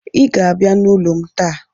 I ga-abịa n'ụlọ m taa.